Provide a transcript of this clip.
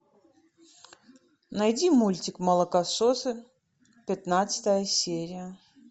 найди мультик молокососы пятнадцатая серия